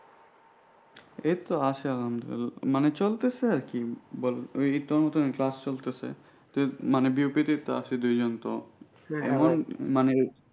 এইতো আছে আলহামদুলিল্লাহ মানে চলতেছে আর কি বলে আর নিত্যনতুন class চলতেছে মানে আছে দুজন তো এমন মানে।